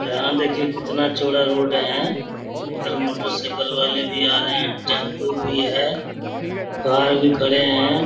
यहाँ देखिये कितना चौड़ा रोड है। उधर मोटरसाइकिल वाले भी आ रहे। टेम्पो भी है। कार भी खड़े है।